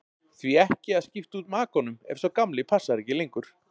Því ekki að skipta út makanum ef sá gamli passar ekki lengur?